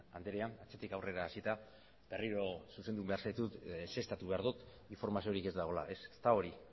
andrea atzetik aurrera hasita berriro zuzendu behar zaitut ezeztatu behar dut informaziorik ez dagoela ez ez da hori